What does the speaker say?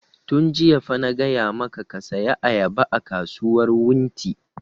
Yun jiya fa na gaya maka ka saya ayaba a kasuwar wunti!